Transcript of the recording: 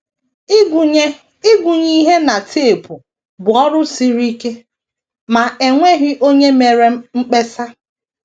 Ịgụnye Ịgụnye ihe na tepụ bụ ọrụ siri ike, ma e nweghị onye mere mkpesa.